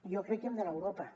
jo crec que hem d’anar a europa